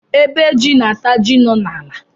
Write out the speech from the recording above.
Ébé jị na ata jị nọ na ala